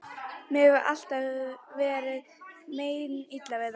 Mér hefur alltaf verið meinilla við þá.